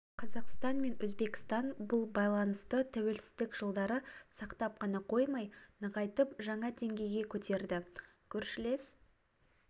қазақстан мен өзбекстан бұл байланысты тәуелсіздік жылдары сақтап қана қоймай нығайтып жаңа деңгейге көтерді көршілес